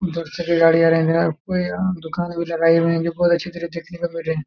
उधर से भी घड़ी आ गई है ना दुकाने भी लगायी गई है बहुत अच्छे तरह देखने में बैठे हैं।